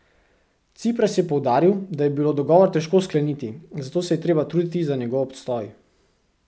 Cipras je poudaril, da je bilo dogovor težko skleniti, zato se je treba truditi za njegov obstoj.